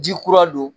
Ji kura don